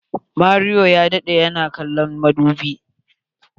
Mario ya daɗe yana kallon madubi.